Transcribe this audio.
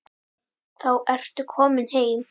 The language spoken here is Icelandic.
Þá ertu kominn heim.